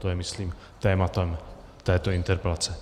To je myslím tématem této interpelace.